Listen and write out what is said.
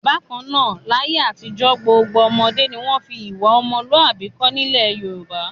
Bákan náà, láyé àtijọ́ gbogbo ọmọdé ni wọ́n fi ìwà ọmọlúàbí kọ́ nílẹ̀ Yorùbá.